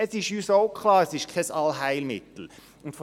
Uns ist auch klar, dass es sich nicht um ein Allheilmittel handelt.